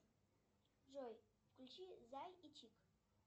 джой включи зай и чик